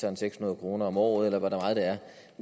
er seks hundrede kroner om året eller hvor meget det er